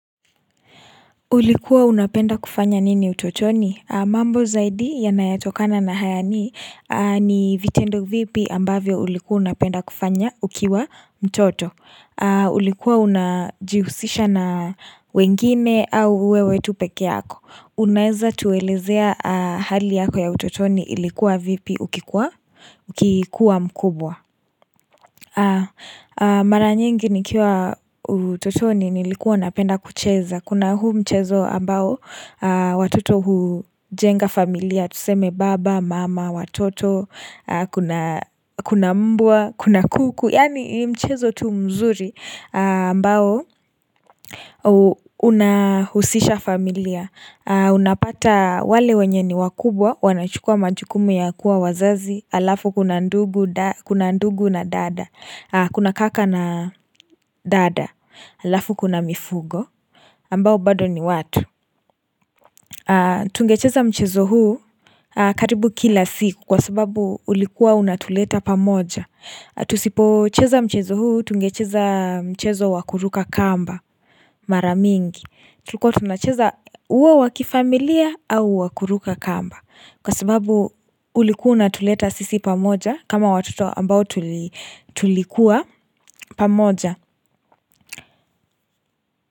Ulikuwa unapenda kufanya nini utotoni? Mambo zaidi yanayo tokana na haya ni vitendo vipi ambavyo ulikuwa unapenda kufanya ukiwa mtoto. Ulikuwa unajihusisha na wengine au wewe tu pekee yako. Unaweza tuelezea hali yako ya utotoni ilikuwa vipi ukikuwa mkubwa. Mara nyingi nikiwa utotoni nilikuwa napenda kucheza. Kuna huu mchezo ambao watoto hujenga familia, tuseme baba, mama, watoto, kuna mbwa, kuna kuku, yani mchezo tu mzuri ambao unahusisha familia. Unapata wale wenye ni wakubwa, wanachukua majukumu ya kuwa wazazi, alafu kuna ndugu na dada, kuna kaka na dada, alafu kuna mifugo. Ambao bado ni watu Tungecheza mchezo huu karibu kila siku Kwa sababu ulikuwa unatuleta pamoja Tusipo cheza mchezo huu Tungecheza mchezo wakuruka kamba Maramingi Tulikuwa tunacheza uwo wa kifamilia au wakuruka kamba Kwa sababu ulikuwa unatuleta sisi pamoja kama watoto ambao tulikuwa pamoja.